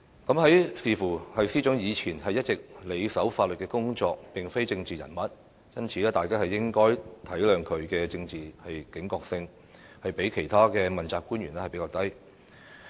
但是，觀乎司長以前一直埋首法律工作，並非政治人物，大家應該體諒她的政治警覺性較其他問責官員低。